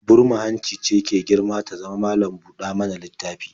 Burma-hanci ce ke girma ta zama malam-buɗa-mana-littafi